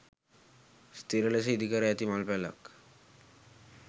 ස්ථීර ලෙස ඉදිකර ඇති මල් පැලක්